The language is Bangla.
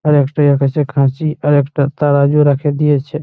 আর একটাই আকাশে খাঁচি আর একটা তারাজু রাখে দিয়েছে।